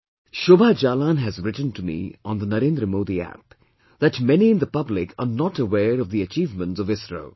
Shobha Jalan has written to me on the NarendraModiApp that many in the public are not aware of the achievements of ISRO